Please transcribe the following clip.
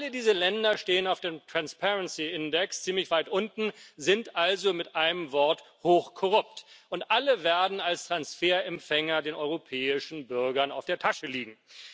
Alle diese Länder stehen auf dem ziemlich weit unten, sind also mit einem Wort hochkorrupt, und alle werden als Transferempfänger den europäischen Bürgern auf der Tasche liegen.